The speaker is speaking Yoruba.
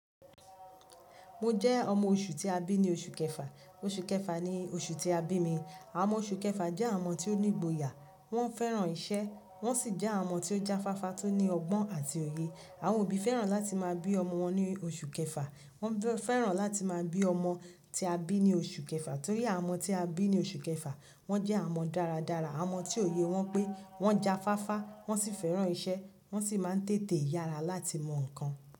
Mo jẹ́ ọmọ oṣù tí a bí ní oṣù kẹfà. Oṣù kẹfà ni oṣù tí a bí mi. Àwọn ọmọ oṣù kẹfà jẹ́ àwọn ọmọ tí ó ní ìgboyà, wọ́n fẹ́ràn iṣẹ́, wọ́n sì jẹ́ àwọn ọmọ tí ó jáfáfá, tó ní ọgbọ́n àti òye. Àwọn òbí fẹ́ràn láti máa bí ọmọ wọn ní oṣù kẹfà. Wọ́n fẹ́ràn láti máa bí ọmọ tí a bí ní oṣù kẹfà torí àwọn ọmọ tí a bí ní oṣù kẹfà wọ́n jẹ́ àwọn ọmọ dáradára, àwọn ọmọ tí òye wọn pé, wọ́n jáfáfá, wọ́n sì fẹ́ràn iṣẹ́, wọ́n sì máa ń tètè yára láti mọ nǹkan.